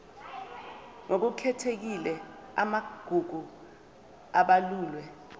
ngokukhethekile amagugu abalulwe